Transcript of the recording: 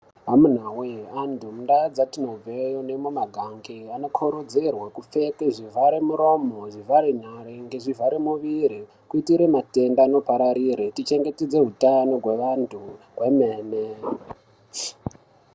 Amuna woye ,antu mundau dzatinobveyo nemumaganga, anokodzerwe kupfeke zvivharamuromo, ngezvivhare nyere, nezvivhare muviri kuitire matenda anopararire ,tichengetedze hutano hweantu hwemene.